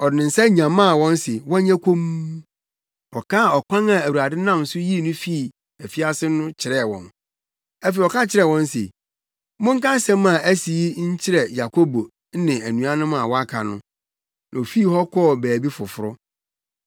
Ɔde ne nsa nyamaa wɔn se wɔnyɛ komm. Ɔkaa ɔkwan a Awurade nam so yii no fii afiase no kyerɛɛ wɔn. Afei ɔka kyerɛɛ wɔn se, “Monka asɛm a asi yi nkyerɛ Yakobo ne anuanom a wɔaka no;” na ofii hɔ kɔɔ baabi foforo.